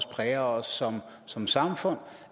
præger os som som samfund